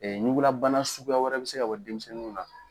ɲugulabana suguya wɛrɛ bɛ se ka bɔ denmisɛnninw na.